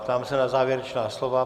Ptám se na závěrečná slova.